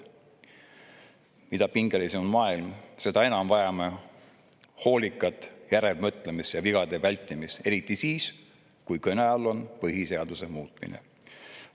Mida pingelisem on maailm, seda enam vajame hoolikat järelemõtlemist ja vigade vältimist, eriti siis, kui kõne all on põhiseaduse muutmine.